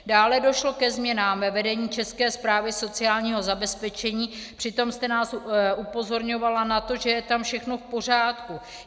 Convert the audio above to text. Dále došlo ke změnám ve vedení České správy sociálního zabezpečení, přitom jste nás upozorňovala na to, že je tam všechno v pořádku.